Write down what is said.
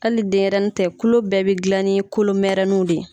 Hali denɲɛrɛnin tɛ kulo bɛɛ bɛ gilan ni kolomɛrɛninw de ye.